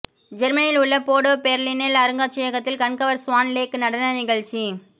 ஜெர்மனியில் உள்ள போடே பேர்லினில் அருங்காட்சியகத்தில் கண்கவர் ஸ்வான் லேக் நடன நிகழ்ச்சி